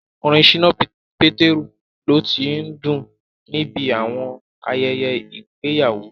Orin Ṣínà Pétérù lo tí ń dún níbi àwọn ayẹyẹ ìgbéyàwó